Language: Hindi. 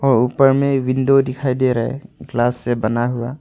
और ऊपर में विंडो दिखाई दे रहा है ग्लास से बना हुआ।